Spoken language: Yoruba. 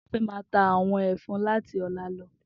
Toba fè má tá áwòn àwòn èfòn làtí òlá lò